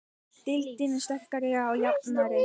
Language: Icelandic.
Deildin sterkari og jafnari